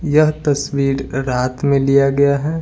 यह तस्वीर रात में लिया गया है।